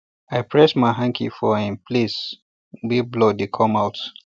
i press my hanky for the um place wey blood dey come out